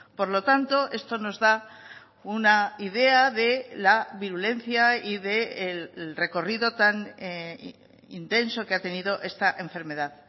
por lo tanto esto nos da una idea de la virulencia y del recorrido tan intenso que ha tenido esta enfermedad